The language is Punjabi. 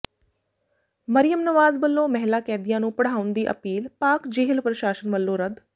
ਮਰੀਅਮ ਨਵਾਜ਼ ਵੱਲੋਂ ਮਹਿਲਾ ਕੈਦੀਆਂ ਨੂੰ ਪੜ੍ਹਾਉਣ ਦੀ ਅਪੀਲ ਪਾਕਿ ਜੇਲ੍ਹ ਪ੍ਰਸ਼ਾਸਨ ਵੱਲੋਂ ਰੱਦ